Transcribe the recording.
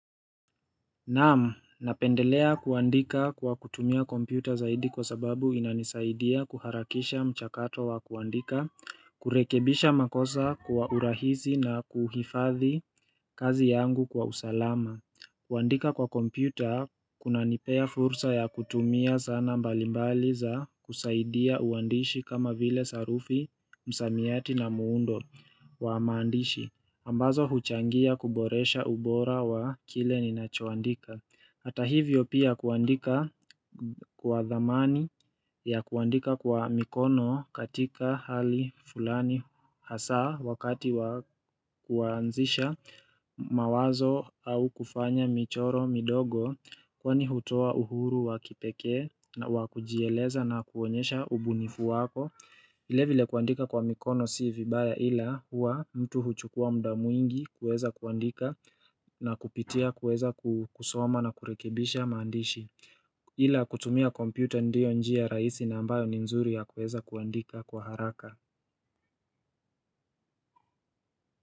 Naam napendelea kuandika kwa kutumia kompyuta zaidi kwa sababu inanisaidia kuharakisha mchakato wa kuandika, kurekebisha makosa kuwa urahisi na kuhifadhi kazi yangu kwa usalama kuandika kwa kompyuta, kunanipea fursa ya kutumia zana mbalimbali za kusaidia uandishi kama vile sarufi, msamiati na muundo wa maandishi ambazo huchangia kuboresha ubora wa kile ni nachoandika Hata hivyo pia kuandika kwa dhamani ya kuandika kwa mikono katika hali fulani hasa Wakati wa kuanzisha mawazo au kufanya michoro midogo Kwani hutoa uhuru wa kipekee na wa kujieleza na kuonyesha ubunifu wako vile vile kuandika kwa mikono si vibaya ila huwa mtu huchukua muda mwingi kuweza kuandika na kupitia kuweza kusoma na kurekibisha maandishi Ila kutumia kompyuta ndio njia rahisi na ambayo ni nzuri ya kuweza kuandika kwa haraka.